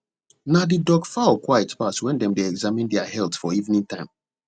na the duck fowl quiet pass when dem dey examine their health for evening time